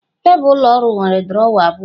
Tebụl ụlọ ọrụ nwere drọwa abụọ